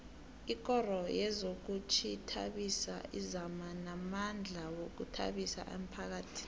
ikoro yezokuzithabisa izama ngamandla ukuthabisa umphakhathi